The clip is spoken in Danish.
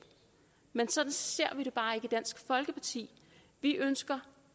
men sådan ser vi det bare ikke i dansk folkeparti vi ønsker